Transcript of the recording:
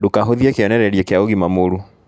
Ndũkahũthie kĩonererĩa kĩa ũgima mũũru